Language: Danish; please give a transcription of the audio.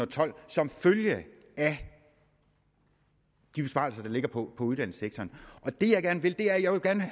tolv som følge af de besparelser der ligger på uddannelsessektoren det jeg gerne vil